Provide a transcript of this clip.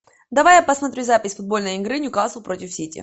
давай я посмотрю запись футбольной игры ньюкасл против сити